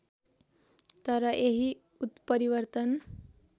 तर यही उत्परिवर्तन